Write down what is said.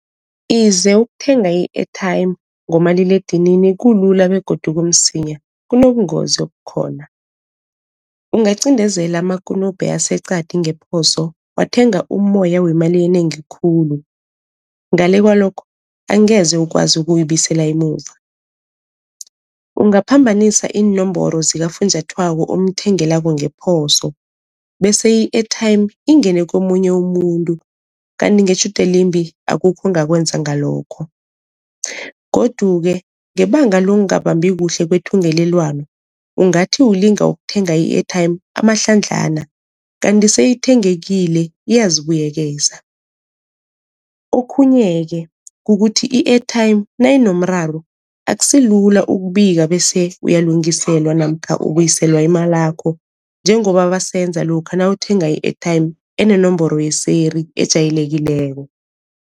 Ize ukuthenga i-airtime ngomaliledinini kulula begodu kumsinya kunobungozi obukhona. Ungacindezela amakunupe aseqadi ngephoso wathenga umoya wemali enengi khulu, ngale kwalokho angeze ukwazi ukuyibuyisela emuva. Ungaphambanisa iinomboro zikafunjathwako omthengelako ngeposo, bese i-airtime ingene komunye umuntu, kanti ngetjhudu elimbi akukho ongakwenza ngalokho. Godu-ke ngebanga lokungabambi kuhle kwethungelelwano ungathi ulinga ukuthenga i-airtime amahlandlana kanti seyithengekile iyazibuyekeza. Okhunye-ke kukuthi i-airtime nayinomraro akusilula ukubika bese uyalungiselwa namkha ubuyiselwa imalakho njengoba basenza lokha nawuthenga i-airtime enenomboro yeseri ejayelekileko.